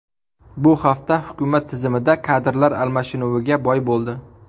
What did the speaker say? Bu hafta hukumat tizimida kadrlar almashinuviga boy bo‘ldi.